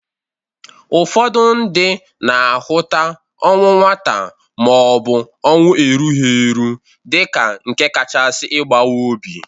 Ụfọdụ ndị na-ahụta ọnwụ nwata ma ọ bụ ọnwụ erughi eru dịka nke kachasi ịbawa obi.